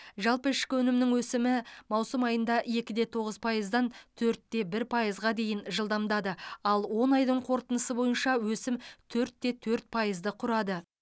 жалпы ішкі өнімнің өсімі маусым айында екі де тоғыз пайыздан төрт те бір пайызға дейін жылдамдады ал он айдың қорытындысы бойынша өсім төрт те төрт пайызды құрады